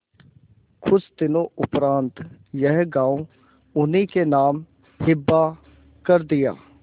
कुछ दिनों उपरांत यह गॉँव उन्हीं के नाम हिब्बा कर दिया